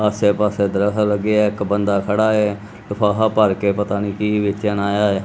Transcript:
ਆਸੇ ਪਾੱਸੇ ਦਰੱਖਤ ਲੱਗੇ ਹੈਂ ਇੱਕ ਬੰਦਾ ਖੜ੍ਹਾ ਹੈ ਲਿਫ਼ਾਫ਼ਾ ਭਰਕੇ ਪਤਾ ਨੀ ਕੀ ਵੇਚਣ ਆਯਾ ਹੈ?